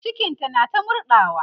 cikinta na ta murɗawa ne